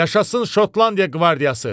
Yaşasın Şotlandiya qvardiyası!